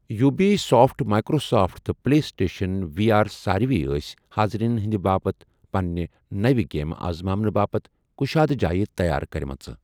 Yubi soft, Microsoft, تہٕ PlayStation V R سٲروٕےٲسۍ حاضرینَن ہندِ باپت پنٕنہ نوِ گیمہٕ آزماونہٕ باپت کشادہ جایہِ تیار کرِمژٕ۔